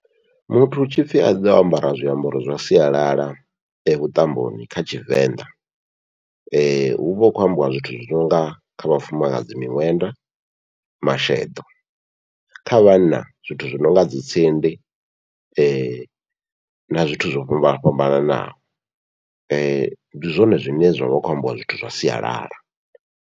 Muthu hu tshipfhi aḓe o ambara zwiambaro zwa sialala vhuṱamboni kha Tshivenḓa, huvha hu khou ambiwa zwithu zwi nonga kha vhafumakadzi miṅwenda, masheḓo kha vhanna zwithu zwi nonga dzi tsindi na zwithu zwo fhambana fhambanaho, ndi zwone zwine zwa kho ambiwa zwithu zwa sialala.